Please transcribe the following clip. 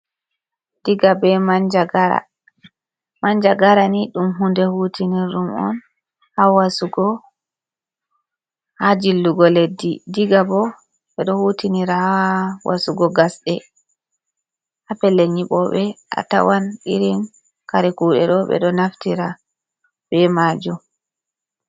Diga be manjagara, manjagara ni ɗum hunde hutinir ɗum on ha wasugo, ha jillugo leddi, diga bo ɓe ɗo hutinira ha wasugo gasɗe, ha pellel nyiɓoɓe a tawan irin kare kuɗe ɗo ɓe ɗo naftira be majum.